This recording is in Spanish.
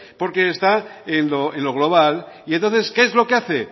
porque está en lo global y entonces qué es lo que hace